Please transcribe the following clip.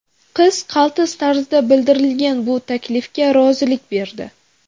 Qiz qaltis tarzda bildirilgan bu taklifga rozilik berdi.